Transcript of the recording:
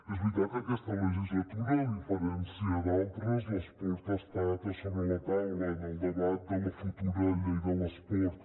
és veritat que aquesta legislatura a diferència d’altres l’esport ha estat a sobre la taula en el debat de la futura llei de l’esport